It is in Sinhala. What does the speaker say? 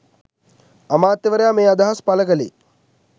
අමාත්‍යවරයා මේ අදහස් පළ කළේ